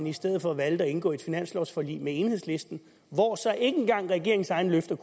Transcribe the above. i stedet for valgte at indgå finanslovforlig med enhedslisten hvor så ikke engang regeringens egne løfter